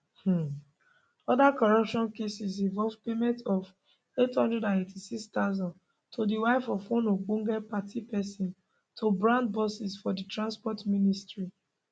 um oda corruption cases involve payment of 886000 to di wife of one ogbonge party pesin to brand buses for di transport ministry